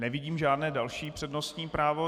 Nevidím žádné další přednostní právo.